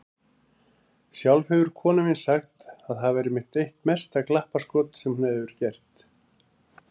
Sjálf hefur konan mín sagt að það væri eitt mesta glappaskotið sem hún hefur gert.